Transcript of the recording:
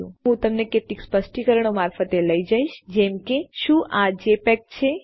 અને તે પછી હું તમને કેટલીક સ્પષ્ટીકરણો મારફતે લઈ જઈશ જેમ કે શું આ જેપીઇજી છે